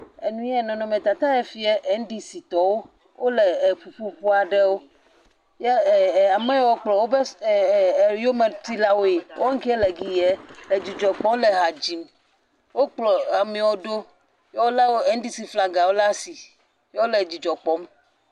Enu ye nɔnɔmetata ya fia NDC tɔwo wo le eƒuƒoƒe aɖewo ye e e ameyawo kplɔ wobe e e yometilawoe wo keŋ le gi ya edzidzɔ kpɔm le ha dzim. Wokplɔ ameawo ɖo ye wole NDC flagawo ɖe asi ye wo le dzidzɔ kpɔm.